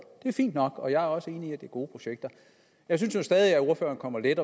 det er fint nok og jeg er også enig i at det er gode projekter jeg synes nu stadig at ordføreren kommer let